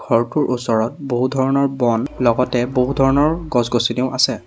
ঘৰটোৰ ওচৰত বহু ধৰণৰ বন লগতে বহু ধৰণৰ গছ-গছনিও আছে।